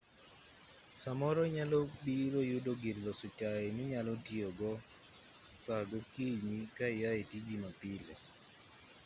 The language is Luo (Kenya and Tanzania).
samoro inyalobiro yudo gir loso chai minyalo tiyogo saa gokinyi ka iae tiji mapile